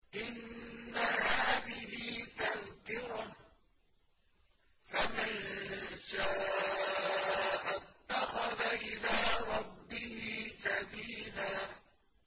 إِنَّ هَٰذِهِ تَذْكِرَةٌ ۖ فَمَن شَاءَ اتَّخَذَ إِلَىٰ رَبِّهِ سَبِيلًا